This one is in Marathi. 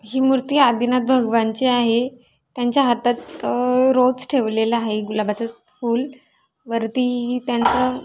ही मूर्ती आदिनाथ भगवानची आहे त्यांच्या हातात अह रोज ठेवलेला आहे. गुलाबाच फूल वरती त्यांचं --